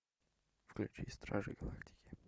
включи стражей галактики